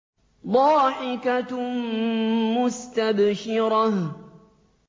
ضَاحِكَةٌ مُّسْتَبْشِرَةٌ